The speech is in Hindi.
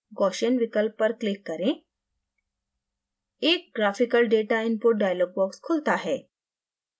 gaussian विकल्प पर click करें एक graphical data input dialog box खुलता है